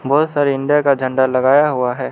बहुत सारी इंडिया का झंडा लगाया हुआ है।